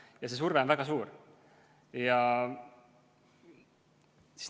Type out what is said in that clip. Ja see surve on väga suur.